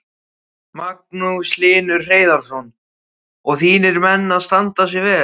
Magnús Hlynur Hreiðarsson: Og þínir menn að standa sig vel?